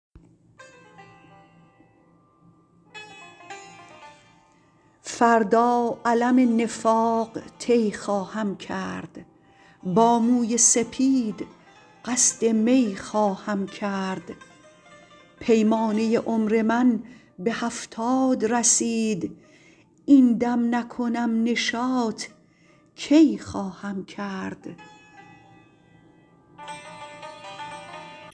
فردا علم نفاق طی خواهم کرد با موی سپید قصد می خواهم کرد پیمانه عمر من به هفتاد رسید این دم نکنم نشاط کی خواهم کرد